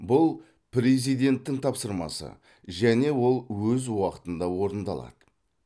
бұл президенттің тапсырмасы және ол өз уақытында орындалады